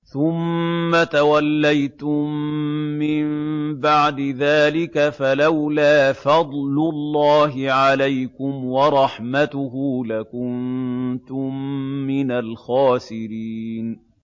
ثُمَّ تَوَلَّيْتُم مِّن بَعْدِ ذَٰلِكَ ۖ فَلَوْلَا فَضْلُ اللَّهِ عَلَيْكُمْ وَرَحْمَتُهُ لَكُنتُم مِّنَ الْخَاسِرِينَ